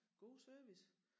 God service